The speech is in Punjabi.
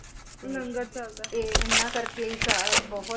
ਤੇ ਲੰਗਰ ਚਲਦਾ ਏ ਇਹਨਾਂ ਕਰਕੇ ਹੀ ਸਾ ਬਹੁਤ